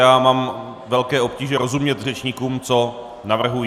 Já mám velké obtíže rozumět řečníkům, co navrhují.